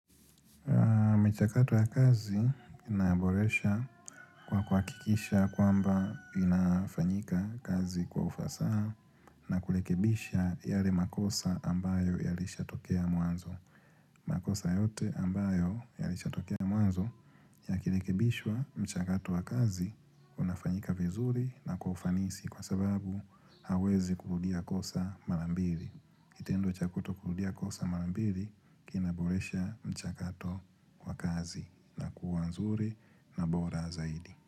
Kwa mchakato ya kazi ninaboresha kwa kuwakikisha kwamba inafanyika kazi kwa ufasaha na kulekebisha yale makosa ambayo yalishatokea mwanzo. Makosa yote ambayo yalishatokea mwanzo ya kilekebishwa mchakato ya kazi unafanyika vizuri na kwa ufanisi kwa sababu hauwezi kurudia kosa marambili. Kitendo cha kutokurudia kosa marambili kina boresha mchakato kwa kazi. Na kuwa nzuri na bora zaidi.